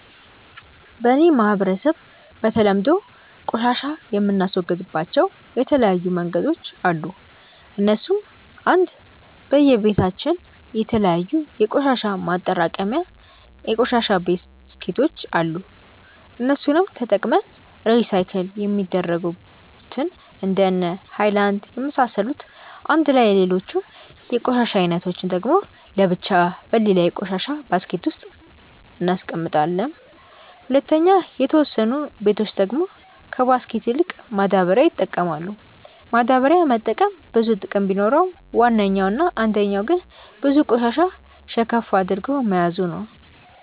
በ እኔ ማህበረሰብ በተለምዶ ቆሻሻ የምናስወግድባቸው የተለያዩ መንገዶች አሉ እነሱም :- 1. በየ በታችን የተለያዩ የቆሻሻ ማጠራቀሚታ የቆሻሻ ባስኬቶች አሉ እነሱንም ተጠቅመን ሪሳይክል የሚደረጉትን እንደነ ሃይላንድ የመሳሰሉትን አንድላይ ሌሎቹን የቆሻሻ አይነቶች ደግሞ ለብቻ በሌላ የቆሻሻ ባስኬት ውስጥ እናስቀምጣለም። 2. የተወሰኑ በቶች ደግሞ ከባስኬት ይልቅ ማዳበሪያ ይጠቀማሉ፤ ማዳበሪያ መጠቀም ብዙ ጥቅም ቢኖረውም ዋነኛው እና አንደኛው ግን ብዙ ቆሻሻ ሸከፍ አድርጎ መያዙ ነው።